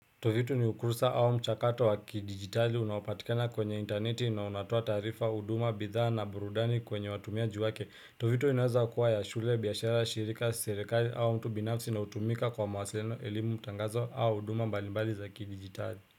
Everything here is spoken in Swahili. Tovitu ni ukursa au mchakato wa kidigitali unaopatikana kwenye interneti na unatoa taarifa, huduma, bidhaa na burudani kwenye watumiaji wake Tovitu inaweza kuwa ya shule, biashara, shirika, serikali au mtu binafsi inayotumika kwa mawasiliano, elimu, tangazo au huduma mbalimbali za kidigitali.